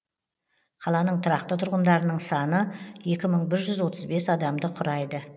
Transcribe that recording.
қаланың тұрақты тұрғындарының саны екі мың бір жүз отыз бес адамды құрайды